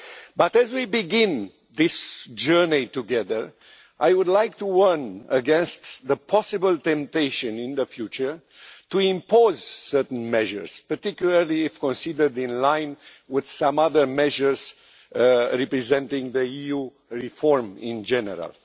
But as we begin this journey together, I would like to warn against the possible temptation in the future of imposing certain measures, particularly if considered in line with some other measures representing EU reform in general.